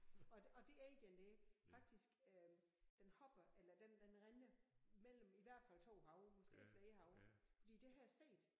Og og det egern der faktisk øh den hopper eller den den render mellem i hvert fald 2 haver måske flere haver fordi det har jeg set